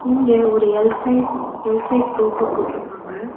இங்க ஒரு L size L size sofa போட்ருக்காங்க.